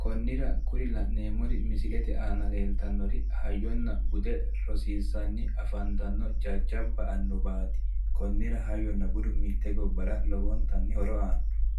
konira kuri la'neemori misilete aana leelitannori hayyona bude rosiisanni afanitanno jajjajabba annuwaat konnira hayyona budu mitte gobbawa lowonitanni horo aano